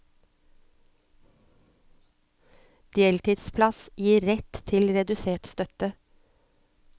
Deltidsplass gir rett til redusert støtte.